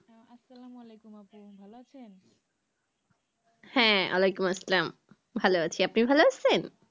হ্যাঁ ওয়ালাইকুম আসসালাম ভালো আছি, আপনি ভালো আছেন?